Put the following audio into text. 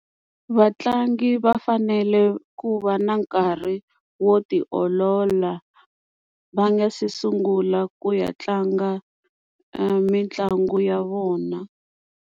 Vatlangi va fanele ku va na nkarhi wo ti olola va nga se sungula ku ya tlanga mitlangu ya vona.